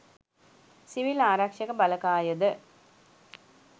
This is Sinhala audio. සිවිල් ආරක්ෂක බලකායද